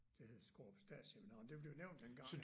Det hed Skårup Statsseminarium det blev nævnt dengang